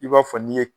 I b'a fɔ n'i ye